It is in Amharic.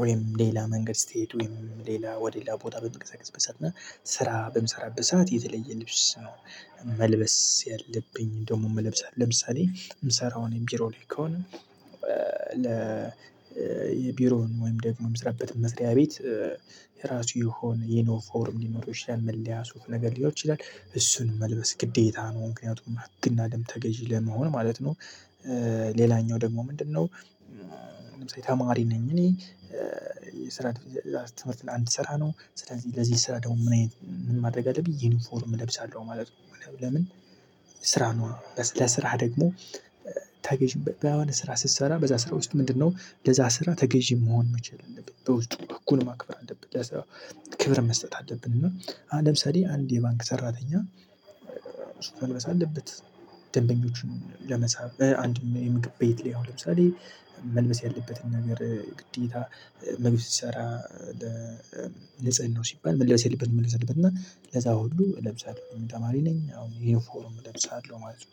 ወይም ሌላ መንገድ ስትሄድ ወይም ሌላ ወደ ሌላ ቦታ በምንቀሳቀስበት ሰዓት እና ስራ በምሰራበት ሰዓት የተለየ ልብስ። መልበስ ያለብኝ ደሞም እለብሳለሁ ለምሳሌ ምሰራው ቢሮ ላይ ከሆነ። ለ የቢሮውን ወይም ደግሞ ምስራበትን መስሪያ ቤት የራሱ የሆነ ዩኒፎርም ሊኖረው ይችላል። መለያ ሱፍ ነገር ሊሆን ይችላል እሱን መልበስ ግዴታ ነው። ምክንያቱም ህግና ደንብ ተገዢ ለመሆን ማለት ነው። ሌላኛው ደግሞ ምንድነው? ተማሪ ነኝ እኔ የስራ ትምህርት ለአንድ ስራ ነው። ስለዚህ ለዚህ ስራ ደግሞ ምን አይነት ማድረግ አለብኝ ዩኒፎርም እለብሳለሁ ማለት ነው። ለምን? ስራ ነዋ ለስራ ደግሞ ተገዢ አሁን ስራ ስትሰራ በዚያ ስራ ውስጥ ምንድነው ለዚያ ስራ ተገዢ መሆን መቻል አለብህ። በውስጥ ህጉን ማክበር መቻል አለብህ። ለስራው ክብር መስጠት አለብን። እና ለምሳሌ አንድ የባንክ ሰራተኛ መልበስ አለበት ደንበኞቹን ለመሳብ አንድ የምግብ ቤት ቢሆን ለምሳሌ መልበስ ያለበትን ነገር ግዴታ ምግብ ሲሰራ። ለንጽህናው ሲባል መልብስ ያለበትን መልበስ ያለበት እና ለዛ ሁሉ እለብሳለሁ ተማሪ ነኝ አሁን ዩኒፎርም እለብሳለሁ ማለት ነው